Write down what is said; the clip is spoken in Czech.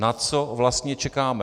Na co vlastně čekáme?